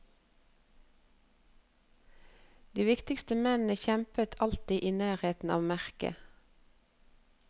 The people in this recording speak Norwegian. De viktigste mennene kjempet alltid i nærheten av merket.